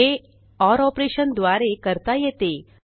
हे ओर operationद्वारे करता येते